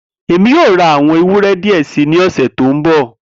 Emi yoo ra awọn ewúrẹ́ diẹ sii ni ọsẹ to nbọ.